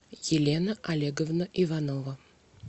елена олеговна иванова